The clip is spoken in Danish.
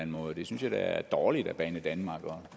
måde det synes jeg da er dårligt af banedanmark og